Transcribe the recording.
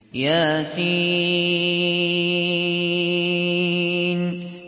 يس